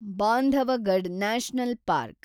Bandhavgarh national park